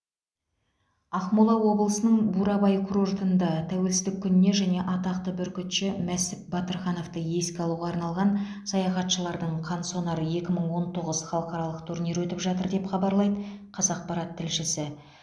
ақмола облысының бурабай курортында тәуелсіздік күніне және атақты бүркітші мәсіп батырхановты еске алуға арналған саятшылардың қансонар екі мың он тоғыз халықаралық турнирі өтіп жатыр деп хабарлайды қазақпарат тілшісі